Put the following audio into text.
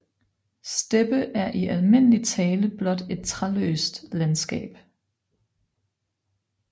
Steppe er i almindelig tale blot et træløst landskab